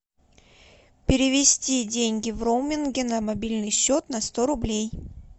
перевести деньги в роуминге на мобильный счет на сто рублей